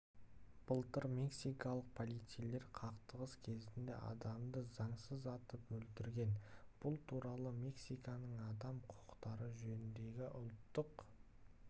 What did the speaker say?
былтыр мексикалық полицейлер қақтығыс кезінде адамды заңсыз атып өлтірген бұл туралы мексиканың адам құқықтары жөніндегі ұлттық